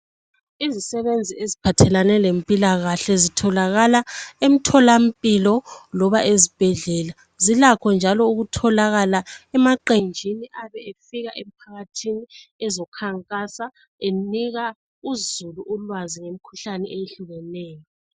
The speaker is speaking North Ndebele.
Izisebenzi eziphathelane lempilakahle ezitholakala emtholampilo loba ezibhedlela. Zilakho njalo ukutholakala emaqenjini ayabe efika ephathe ezokukhankasa enika uzulu ulwazi ngemikhuhlane ehlukeneyo.